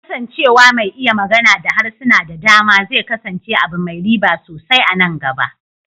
Kasancewa mai iya magana da harsuna da dama zai kasance abu mai riba sosai a nan gaba.